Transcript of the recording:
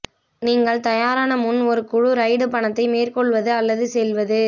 நீங்கள் தயாரான முன் ஒரு குழு ரைடு பயணத்தை மேற்கொள்வது அல்லது செல்வது